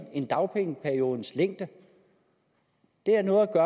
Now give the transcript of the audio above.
end dagpengeperiodens længde det har noget at